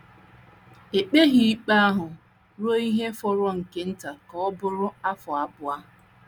E kpeghị ikpe ahụ ruo ihe fọrọ nke nta ka ọ bụrụ afọ abụọ.